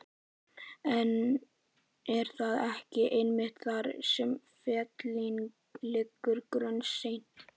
En er það ekki einmitt þar sem feillinn liggur Gunnsteinn?